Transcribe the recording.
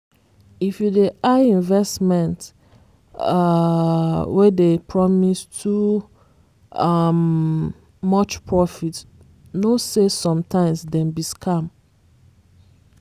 if you dey eye investment um wey dey promise too um much profit know say sometimes dem be scam